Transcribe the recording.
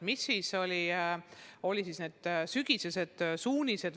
Mis siis olid need sügisesed suunised?